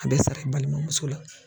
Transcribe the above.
A bɛ sara i balimamuso la.